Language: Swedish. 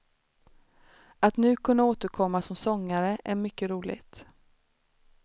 Att nu kunna återkomma som sångare är mycket roligt.